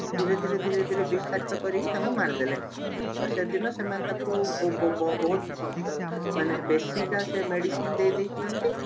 ଧୀରେ ଧୀରେ ଧୀରେ ଧୀରେ ବିଷାକ୍ତ କରିକି ତାଙ୍କୁ ମାରିଦେଲେ ସେଦିନ ସେମାନେ ତାଙ୍କୁ ବୋ ବୋ ବୋ ବହୁତ ଭ ମାନେ ବେଶିକା ସେ medicine ଦେଇଦେଇଛନ୍ତି